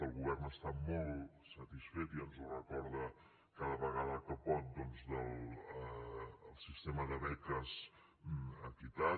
el govern està molt satisfet i ens ho recorda cada vegada que pot doncs del sistema de beques equitat